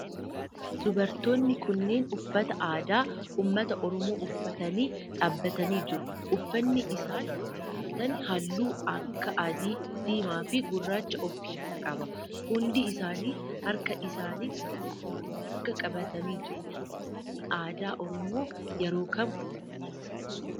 Dubartoonni kunneen uffata aadaa ummata oromoo uffatanii dhaabbatanii jiru. Uffanni isaan uffatan halluu akka adii, diimaa fi guraacha of keessaa qaba. Hundi isaanii harka isaanitti marga qabatanii jiru. Uffanni aadaa oromoo yeroo kam uffatama?